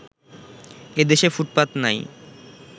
এদেশে ফুটপাত নাই